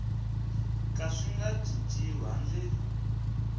ka swi nga cinciwi handle